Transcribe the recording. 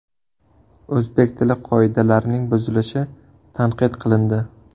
O‘zbek tili qoidalarining buzilishi tanqid qilindi.